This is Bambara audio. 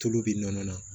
Tulu bɛ nɔnɔ na